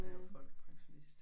Og jeg er folkepensionist